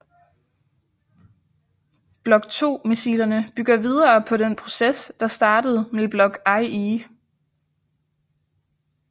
Block II missilerne bygger videre på den proces der startede med Block IE